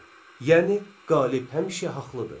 Yəni qalib həmişə haqqlıdır.